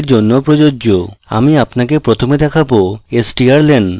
ok আছে আমি আপনাকে প্রথমে দেখাবো strlen